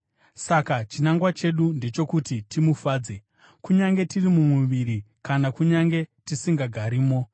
Saka chinangwa chedu ndechokuti timufadze, kunyange tiri mumuviri kana kunyange tisingagarimo.